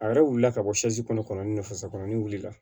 A yɛrɛ wulila ka bɔ kɔnɔ ni fasokɔrɔni wulila